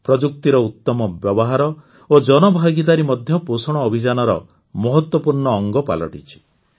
ପ୍ରଯୁକ୍ତିର ଉତ୍ତମ ବ୍ୟବହାର ଓ ଜନଭାଗିଦାରୀ ମଧ୍ୟ ପୋଷଣ ଅଭିଯାନର ମହତ୍ୱପୂର୍ଣ୍ଣ ଅଂଗ ପାଲଟିଛି